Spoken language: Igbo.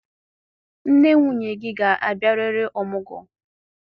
Nne nwunye gị ga-abịarịrị ọmụgwọ.